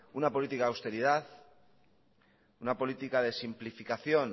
una política de austeridad una política de simplificación